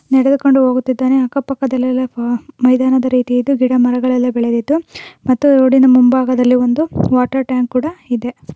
ನೆಡದುಕೊಂಡು ಹೋಗುತ್ತಿದಾನೆ ಅಕ್ಕಪಕ್ಕದೆಲೆಲ್ಲಾ ಮೈದಾನ ರೀತಿಯಲ್ಲಿ ಇದೆ ಗಿಡ್ಡಮರಗಲ್ಲೆಲ್ಲಾ ಬೆಳೆದಿದ್ದ್ದು ಮತ್ತು ರೋಡಿನ ಮುಂಭಾಗದಲ್ಲಿ ವಾಟರ್ ಟ್ಯಾಂಕ್ ಕೂಡ ಇದೆ.